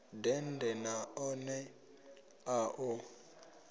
dende na ḽone a ḽo